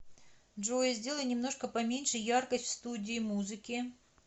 джой сделай немножко поменьше яркость в студии музыки